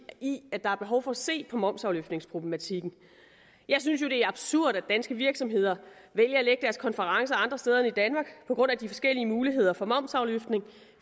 i at der er behov for at se på momsafløftningsproblematikken jeg synes jo det er absurd at danske virksomheder vælger at lægge konferencer andre steder end i danmark på grund af de forskellige muligheder for momsafløftning